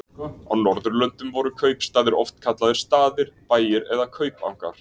Á Norðurlöndum voru kaupstaðir oft kallaðir staðir, bæir eða kaupangar.